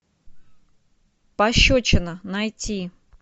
пощечина найти